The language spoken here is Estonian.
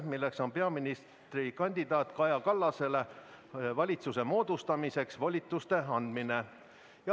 See on peaministrikandidaat Kaja Kallasele valitsuse moodustamiseks volituste andmine.